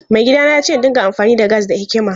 Maigidana ya ce in dinga amfani da gas da hikima.